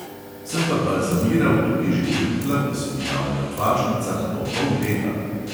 Sem pa balzamiral tudi že trupla, ki so v bila v mrtvašnicah po pol leta.